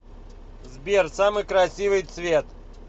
сбер самый красивый цвет